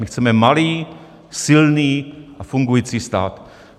My chceme malý, silný a fungující stát.